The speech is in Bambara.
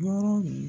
Yɔrɔ